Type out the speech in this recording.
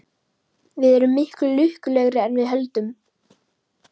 Við erum miklu lukkulegri en við höldum.